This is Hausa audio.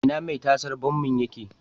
Ina mai tasar bommin yake?